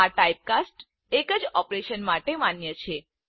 આટાઇપકાસ્ટ્સ એક જ ઓપરેશન માટે માન્ય છે